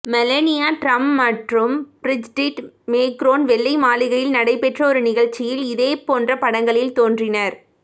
Melania Trump மற்றும் Brigitte Macron வெள்ளை மாளிகையில் நடைபெற்ற ஒரு நிகழ்ச்சியில் இதே போன்ற படங்களில் தோன்றினர்